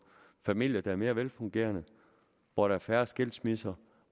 familier der er mere velfungerende hvor der er færre skilsmisser